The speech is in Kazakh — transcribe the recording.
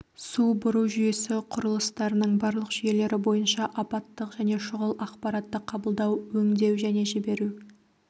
су бұру жүйесі құрылыстарының барлық жүйелері бойынша апаттық және шұғыл ақпаратты қабылдау өңдеу және жіберу